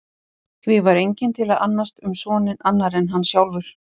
Því var enginn til að annast um soninn annar en hann sjálfur.